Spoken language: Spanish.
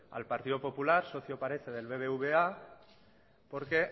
al partido popular socio del bbva porque